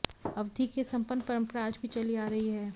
अवधी की यह संपन्न परंपरा आज भी चली आ रही है